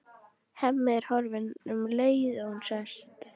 Hemmi er horfinn um leið og hún sest.